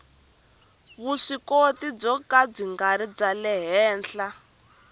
vuswikoti byo ka byi henhla